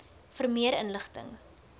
vir meer inligting